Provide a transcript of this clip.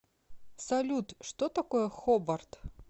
салют что такое хобарт